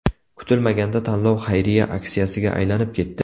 Kutilmaganda tanlov xayriya aksiyasiga aylanib ketdi.